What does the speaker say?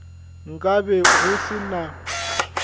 nka be go se na